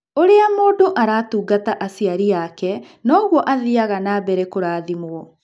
Ũũrĩa mũndũ aratungata aciari ake noguo athiaga na mbere kũrathimwo.